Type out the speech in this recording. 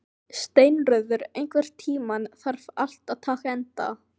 Steinröður, einhvern tímann þarf allt að taka enda.